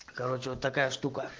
короче вот такая штука